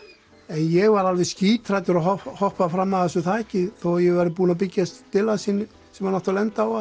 ég var alveg skíthræddur að hoppa fram af þessu þaki þó ég væri búinn að byggja stillansinn sem hann átti að lenda á